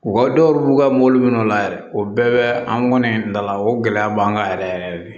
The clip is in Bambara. U ka dɔw b'u ka mobili minɛ o la yɛrɛ o bɛɛ bɛ an kɔni dala o gɛlɛya b'an kan yɛrɛ yɛrɛ de